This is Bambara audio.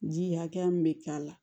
Ji hakɛya min be k'a la